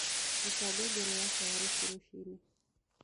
rũta ngengere yakwa ya rũciũ rũcĩĩnĩ